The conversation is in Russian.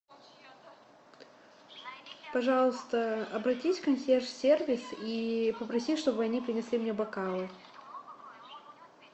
пожалуйста обратись в консьерж сервис и попроси чтобы они принесли мне бокалы